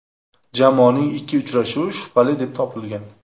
Jamoaning ikki uchrashuvi shubhali deb topilgan.